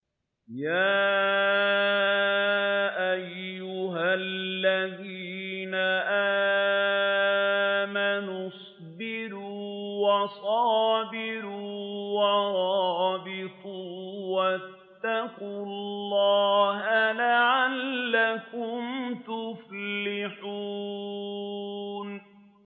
يَا أَيُّهَا الَّذِينَ آمَنُوا اصْبِرُوا وَصَابِرُوا وَرَابِطُوا وَاتَّقُوا اللَّهَ لَعَلَّكُمْ تُفْلِحُونَ